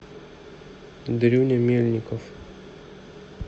дрюня мельников